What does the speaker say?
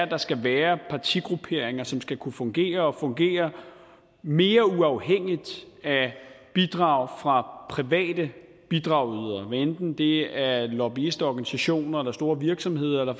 der skal være partigrupperinger som skal kunne fungere og fungere mere uafhængigt af bidrag fra private bidragydere hvad enten det er lobbyistorganisationer eller store virksomheder eller